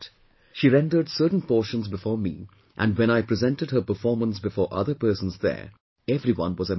She rendered certain portions before me and when I presented her performance before other persons there, everyone was amazed